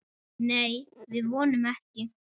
Nei, við vonum ekki.